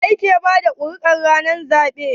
wa yake bada kuri'ar ranar zabe?